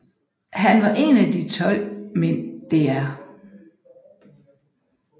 Han var en af de 12 mænd Dr